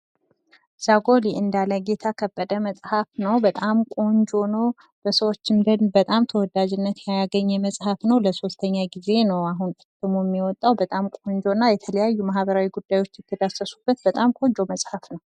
ዛጎል የእንዳለ ጌታ ከበደ መጽሐፍ ሲሆን በጣም ቆንጆና በሰወች ዘንድ ተወዳጂነትን ያገኘ ፣ ብዙ ማህበራዊ ጉዳዮች የተዳሰሱበት እና ለሶስተኛ ጊዜ የታተመ መጽሐፍ ነው ።